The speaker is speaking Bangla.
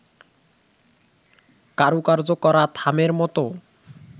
কারুকার্য করা থামের মতো